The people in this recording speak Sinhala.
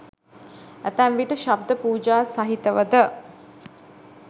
ඇතැම් විට ශබ්ද පූජා සහිතව ද